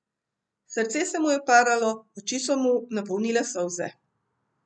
Srce se mu je paralo, oči so mu napolnile solze.